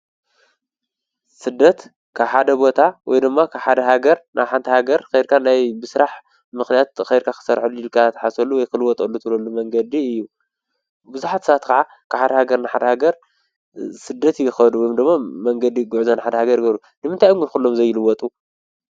ስደት ክሓደ ቦታ ወይ ድማ ኽሓደ ሃገር ናብሓንታ ሃገር ከይርካ ናይ ብሥራሕ ምኽንያት ኸይርካ ኽሠርዐሉ ኢልካ ተሓሰሉ ወይኽልወጥኣሉ ትለሉ መንገዲ እዩ ብዙኃትሳት ኸዓ ክሓድ ሃገር ናሓድ ሃገር ሥደት ይኸዱ ም ድሞ መንገዲ ጕዕዘ ን ሓድ ሃገ ርገሩ ድምንትይ እጕልኹሎም ዘይልወጡ?